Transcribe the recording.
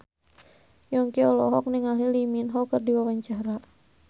Yongki olohok ningali Lee Min Ho keur diwawancara